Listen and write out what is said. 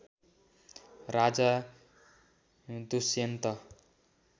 Raja Dushyant